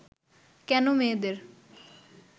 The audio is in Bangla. কেন মেয়েদের